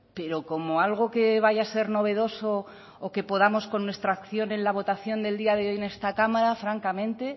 pero como algo que vaya a ser novedoso o que podamos con nuestra acción en la votación del día de hoy en esta cámara francamente